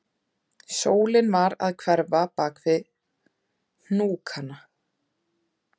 Sólin var að hverfa bak við hnúkana